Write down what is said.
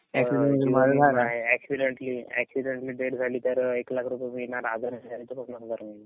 जीवन विमा आहे. Accidentally, accidentally death झाली तर एक रुपये मिळणार आजाराने झाली तर नाही मिळणार